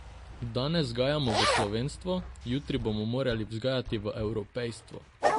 Danes vzgajamo v slovenstvo, jutri bomo morali vzgajati v evropejstvo.